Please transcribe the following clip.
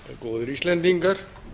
góðir íslendingar